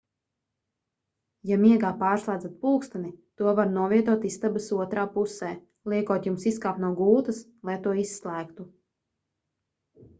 ja miegā pārslēdzat pulksteni to var novietot istabas otrā pusē liekot jums izkāpt no gultas lai to izslēgtu